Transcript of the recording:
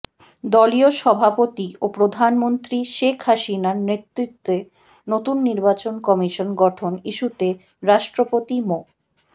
দলীয় সভাপতি ও প্রধানমন্ত্রী শেখ হাসিনার নেতৃত্বে নতুন নির্বাচন কমিশন গঠন ইস্যুতে রাষ্ট্রপতি মো